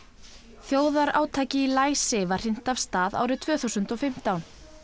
þjóðarátaki í læsi var hrint af stað árið tvö þúsund og fimmtán